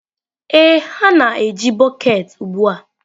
Ee, ha na-eji bọket ugbu a.